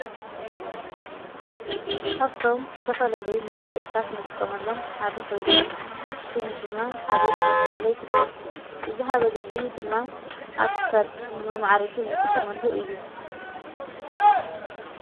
ኻብቶም ዝተፈለለይ መጋይጽታት እንጥቆመሎም ሓዲ ኾይኑ ሹሙ ድማ ሃብል ናታብሃለ ኣይፍለ እዚ ሃበል እዙይ ድማ ኣብክሳድ ንመመዓረጊ ንጥቆመሉ እዩ።